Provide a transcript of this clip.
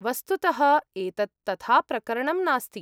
वस्तुतः एतत् तथा प्रकरणं नास्ति।